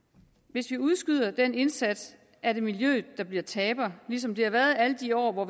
hvis vi udskyder den indsats er det miljøet der bliver taber ligesom det har været alle de år hvor